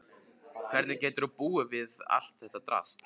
Hvernig getur hún búið við allt þetta drasl?